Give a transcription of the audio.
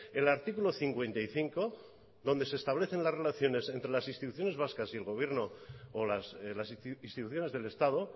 el artículo cincuenta y cinco donde se establecen las relaciones entre las instituciones vascas y el gobierno o las instituciones del estado